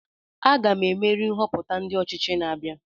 Aga m emeri nhoputa ndi ochichi na-abia